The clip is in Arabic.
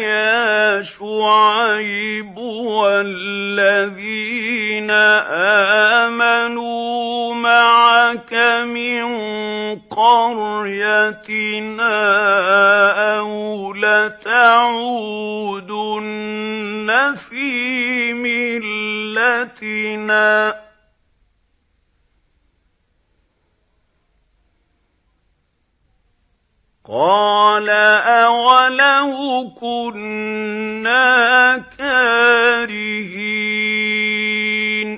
يَا شُعَيْبُ وَالَّذِينَ آمَنُوا مَعَكَ مِن قَرْيَتِنَا أَوْ لَتَعُودُنَّ فِي مِلَّتِنَا ۚ قَالَ أَوَلَوْ كُنَّا كَارِهِينَ